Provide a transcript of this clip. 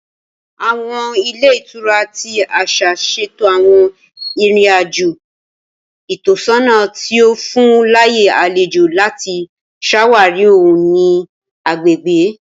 Awọn ilé ìtura ti aṣa ṣeto awọn irin-ajo itọsọna ti o fun laaye alejo lati ṣawari ohun-ini agbegbe